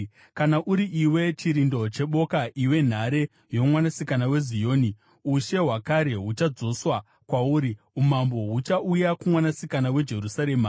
Kana uri iwe, chirindo cheboka iwe nhare yoMwanasikana weZioni, ushe hwakare huchadzoswa kwauri; umambo huchauya kuMwanasikana weJerusarema.”